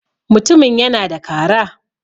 mutumin yana da Kara